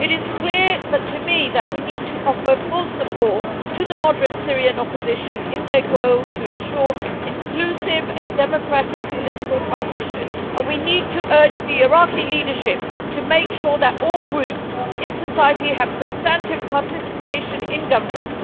It is clear that to me we need to offer full support to the moderate Syrian opposition in its goal to ensure inclusive and democratic political transition, and we need to urge the Iraqi leadership to make sure that all groups in society have substantive participation in government.